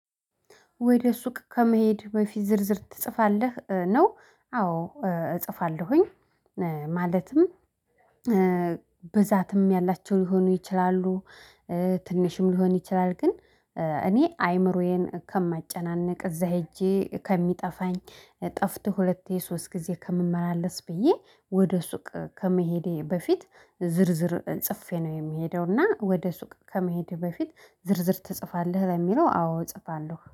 ወደ ሱቅ ከመሄድ በፊት ዝርዝር ትጽፋለህ ነው አዎ እጽፋለሁኝ። ማለትም ብዛትም ያላቸው ሊሆኑ ይችላሉ። ትንሽም ሊሆን ይችላል ግን እኔ አይምሮዬን ከማጨናነቅ እዛ ሄጄ ከሚጠፋኝ ጠፍቶ ሁለቴ ሶስት ጊዜ ከምመላለስ ብዬ ወደ ሱቅ ከመሄዴ በፊት ዝርዝር ጽፌ ነው የምሄደው። እና ወደ ሱቅ ከመሄድ በፊት ዝርዝር ትጽፋለህ ለሚለው አዎ እጽፋለሁ